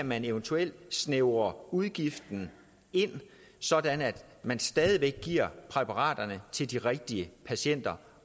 man eventuelt kan snævre udgiften ind sådan at man stadig væk giver præparaterne til de rigtige patienter